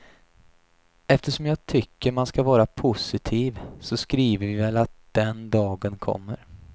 Eftersom jag tycker man ska vara positiv, så skriver vi väl att den dagen kommer.